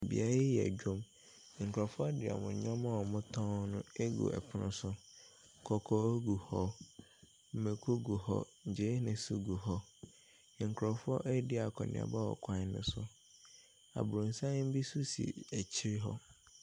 Beaeɛ yi yɛ dwom. Nkorɔfoɔ de wɔn nnoɔma wɔtɔn ɛgu ɛpono so. Kɔkɔɔ gu hɔ, mɛko gu hɔ, gyeene nso gu hɔ. Nkorɔfoɔ nso eedi akɔniaba wɔ kwan no so. Aboronsan bi nso si akyire hɔ.